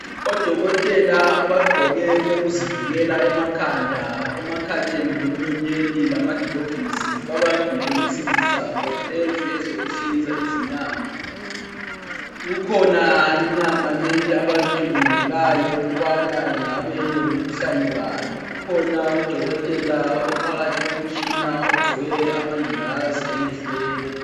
Odokotela abagqoke okokuzivikela emakhanda emakhaleni lemlonyeni lamagilovisi babambile babambile insimbi zabo lezi ezokuhlinza izinyama. Kukhona inyama leyi abayicubungulayo ukubana ingabe ilomkhuhlane bani. Kukhona udokotela ophakathi komtshina ogqoke amangilazi emehlweni.